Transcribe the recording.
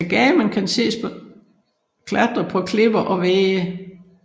Agamen kan ses klatre på klipper og vægge